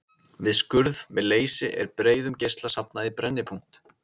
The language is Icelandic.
Við skurð með leysi er breiðum geisla safnað í brennipunkt.